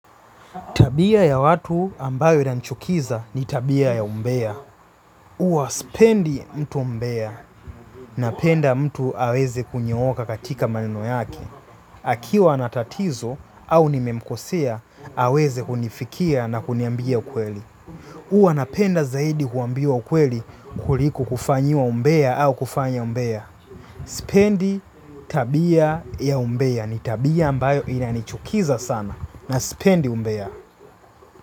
Tabia ya watu ambayo nanichukiza ni tabia ya umbea. Uwa spendi mtu mmbea napenda mtu aweze kunyooka katika maneno yake. Akiwa anatatizo au nimemkosea, aweze kunifikia na kuniambia ukweli. Uwa napenda zaidi kuambiwa ukweli kuliko kufanyiwa umbea au kufanya mmbea. Spendi tabia ya umbea ni tabia ambayo inanichukiza sana na spendi umbea.